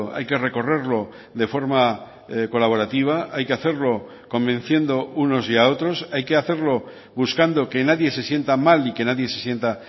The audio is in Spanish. hay que recorrerlo de forma colaborativa hay que hacerlo convenciendo unos y a otros hay que hacerlo buscando que nadie se sienta mal y que nadie se sienta